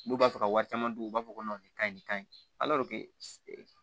N'u b'a fɛ ka wari caman dun u b'a fɔ ko nin ka ɲi nin ka ɲi